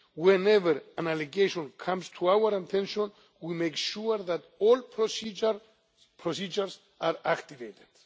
Whenever an allegation comes to our attention, we make sure that all procedures are activated.